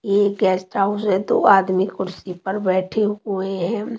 यह guest house है दो आदमी कुर्सी पर बैठे हुए हैं।